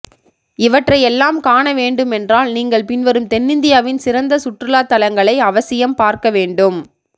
இவற்றை எல்லாம் காண வேண்டுமென்றால் நீங்கள் பின்வரும் தென்னிந்தியாவின் சிறந்த சுற்றுலாதலங்களை அவசியம் பார்க்க வேண்டும்